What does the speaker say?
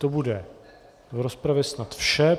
To bude v rozpravě snad vše.